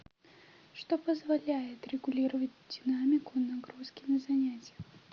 что позволяет регулировать динамику нагрузки на занятиях